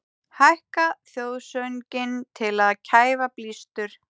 Hækka þjóðsönginn til að kæfa blístur